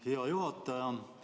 Hea juhataja!